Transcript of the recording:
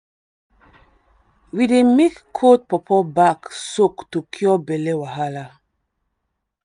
we dey make cold pawpaw bark soak to cure belly wahala.